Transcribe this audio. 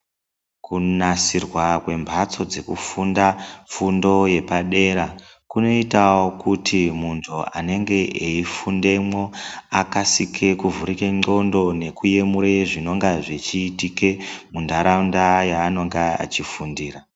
Kunasirwa kwembatso dzekufunda fundo yepadera kunoitawo kuti muntu anenge eifundemwo akasike kuvhurike ndlqondo nekuyemura zvinonga zvichiitike muntaraunda yaanonga achifundira.